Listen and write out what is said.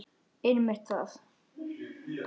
Einmitt það.